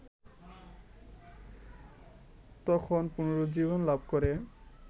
তখন পুনরুজ্জীবন লাভ করে